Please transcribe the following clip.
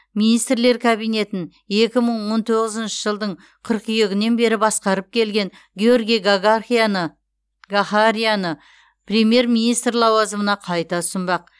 министрлер кабинетін екі мың он тоғызыншы жылдың қыркүйегінен бері басқарып келген георгий гагархияны гахарияны премьер министр лауазымына қайта ұсынбақ